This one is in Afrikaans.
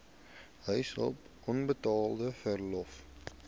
huishulp onbetaalde verlof